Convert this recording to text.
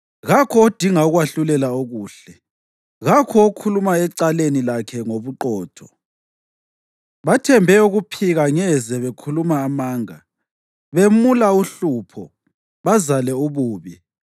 Kakho odinga ukwahlulela okuhle, kakho okhuluma ecaleni lakhe ngobuqotho. Bathembe ukuphika ngeze bekhuluma amanga; bemula uhlupho, bazale ububi.